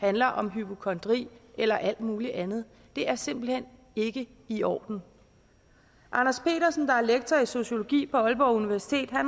handler om hypokondri eller alt muligt andet det er simpelt hen ikke i orden anders petersen der er lektor i sociologi på aalborg universitet har